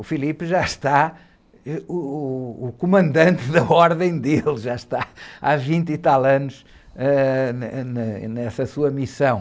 O já está, ãh, uh, uh, o comandante da ordem dele, já está há vinte e tal anos, ãh, ãh, nessa sua missão.